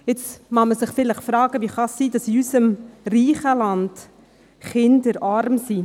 Jetzt mag man sich vielleicht fragen, wie es sein kann, dass in unserem reichen Land Kinder arm sind.